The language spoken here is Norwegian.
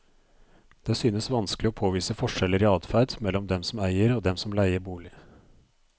Det synes vanskelig å påvise forskjeller i adferd mellom dem som eier og dem som leier bolig.